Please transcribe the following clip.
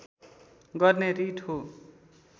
गर्ने रिट हो